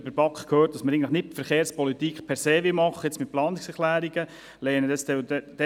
Von der BaK haben wir gehört, dass wir eigentlich nicht per se mit Planungserklärungen Verkehrspolitik machen wollen.